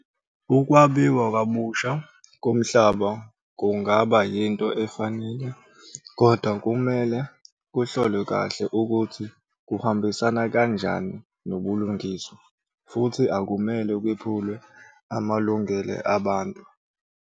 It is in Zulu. Ukwabiwa kabusha komhlaba kungaba yinto efanele, kodwa kumele kuhlolwe kahle ukuthi kuhambisana kanjani nobulungiswa futhi akumele kwephulwe amalungelo abantu.